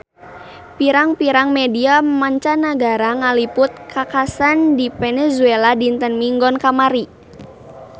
Pirang-pirang media mancanagara ngaliput kakhasan di Venezuela dinten Minggon kamari